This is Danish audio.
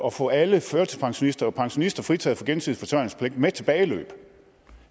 at få alle førtidspensionister og pensionister fritaget for gensidig forsørgerpligt med tilbageløb